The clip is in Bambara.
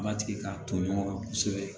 Batigi k'a to ɲɔgɔn kan kosɛbɛ